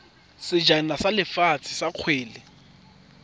sejana sa lefatshe sa kgwele